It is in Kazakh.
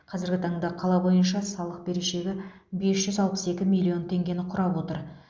қазіргі таңда қала бойынша салық берешегі бес жүз алпыс екі миллион теңгені құрап отыр